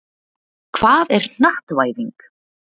Hvað er hnattvæðing?